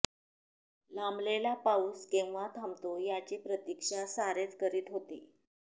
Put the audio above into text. लांबलेला पाऊस केव्हा थांबतो याची प्रतीक्षा सारेच करीत होते